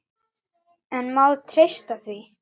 En má treysta því?